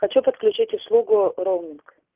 хочу подключить услугу роуминг